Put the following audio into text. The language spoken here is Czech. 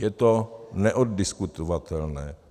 Je to neoddiskutovatelné.